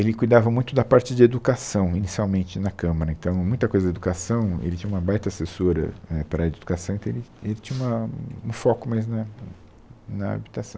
Ele cuidava muito da parte de educação inicialmente na Câmara, então muita coisa da educação, ele tinha uma baita assessora, é para a área de educação, então ele ele tinha uma um foco mais na na habitação.